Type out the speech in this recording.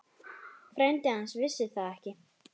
Frændi hans vissi það ekki.